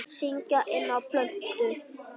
Syngja inná plötu.